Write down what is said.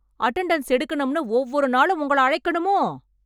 Attendance எடுக்கணும்னு ஒவ்வொரு நாளும் உங்கள அழைக்கணுமோ?